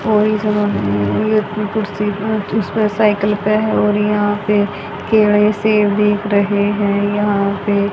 और इस जगह पे कुर्सी उ उसपे साइकल पे है और यहां पे केले सेब दिख रहे है यहां पे।